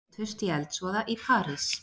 Fimm létust í eldsvoða í París